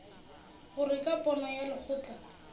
gore ka pono ya lekgotla